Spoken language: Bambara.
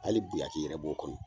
Hali biyaki yɛrɛ b'o kɔnɔ!